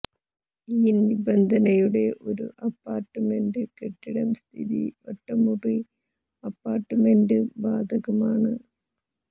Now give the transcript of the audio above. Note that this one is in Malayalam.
ഈ നിബന്ധനയുടെ ഒരു അപ്പാർട്ട്മെന്റ് കെട്ടിടം സ്ഥിതി ഒറ്റമുറി അപ്പാർട്ട്മെന്റ് ബാധകമാണ്